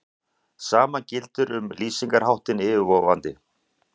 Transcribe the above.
Sama gildir um lýsingarháttinn yfirvofandi.